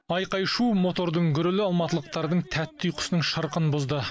айқай шу мотордың гүрілі алматылықтардың тәтті ұйқысының шырқын бұзды